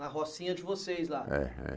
Na rocinha de vocês lá. É é